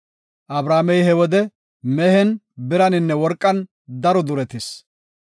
Abramey he wode mehen, biraninne worqan daro duretis.